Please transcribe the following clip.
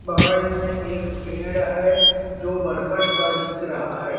बगल में एक पेड़ है जो बरकट का दिख रहा है।